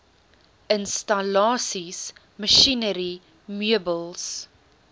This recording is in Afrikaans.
installasies masjinerie meubels